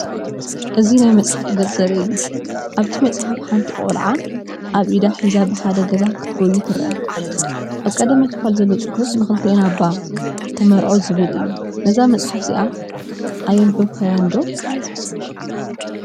እዚ ናይ መጽሓፍ ገፅ ዘርኢ እዩ። ኣብቲ መፅሓፍ፡ ሓንቲ ጓል ቆልዓ ኣብ ኢዳ ሒዛ ብሓደ ገዛ ክትጎዪ ትረአ። ኣብ ቀዳማይ ክፋል ዘሎ ጽሑፍ፡ “ንክልቴና ባ ተመርዖ” ዝብል እዩ። ነዛ መጽሓፍ እዚኣ ኣየንበብካያ ዶ?